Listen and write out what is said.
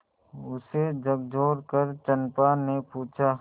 उसे झकझोरकर चंपा ने पूछा